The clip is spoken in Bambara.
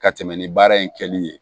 Ka tɛmɛ ni baara in kɛli ye